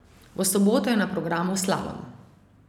V soboto je na programu slalom.